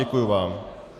Děkuji vám.